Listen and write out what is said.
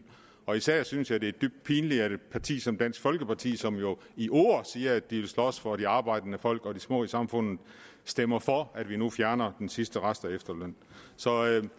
og især synes jeg det er dybt pinligt at et parti som dansk folkeparti som jo i ord siger at de vil slås for det arbejdende folk og de små i samfundet stemmer for at vi nu fjerner den sidste rest af efterlønnen så jeg vil